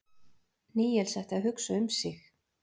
Níels ætti að hugsa um sig.